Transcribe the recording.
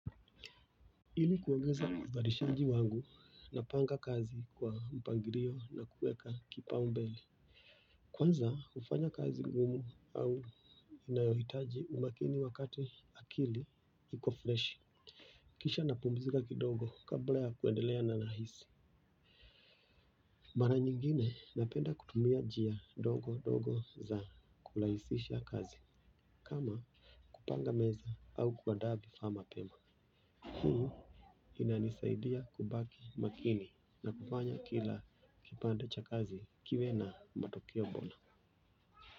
Ili kuongeza uzalishaji wangu napanga kazi kwa mpangilio na kuweka kipao mbele kwanza hufanya kazi ngumu au inayohitaji umakini wakati akili iko fresh kisha napumzika kidogo kabla ya kuendelea nahisi mara nyingine napenda kutumia njia ndogo ndogo za kurahisisha kazi kama kupanga meza au kwa kuandaa vifaa mapema hii inanisaidia kubaki makini na kufanya kila kipande cha kazi kiwe na matokeo bora.